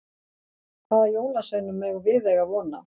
Hvaða jólasveinum megum við eiga von á?